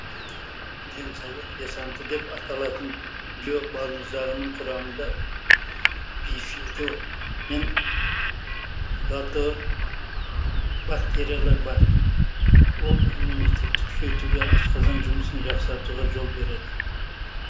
денсаулық десанты деп аталатын био балмұздағының құрамында бифидо мен латобактериялар бар ол иммунитетті күшейтуге асқазан жұмысын жақсартуға жол береді